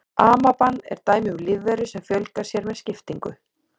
Amaban er dæmi um lífveru sem fjölgar sér með skiptingu.